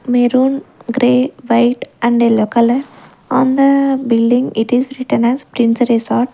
Maroon grey white and yellow color and the building it is written as prince resort.